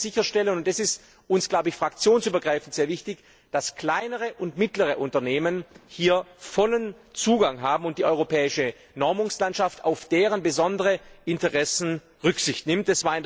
Und wir können sicherstellen und das ist uns fraktionsübergreifend sehr wichtig dass kleinere und mittlere Unternehmen hier vollen Zugang haben und die europäische Normungslandschaft auf deren besondere Interessen Rücksicht nimmt.